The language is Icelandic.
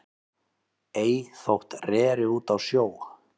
Ei þótt reri út á sjó